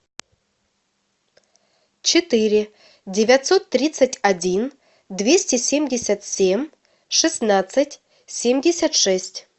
четыре девятьсот тридцать один двести семьдесят семь шестнадцать семьдесят шесть